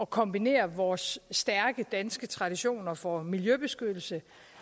kombinere vores stærke danske traditioner for miljøbeskyttelse